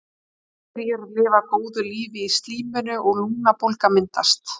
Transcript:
Bakteríur lifa góðu lífi í slíminu og lungnabólga myndast.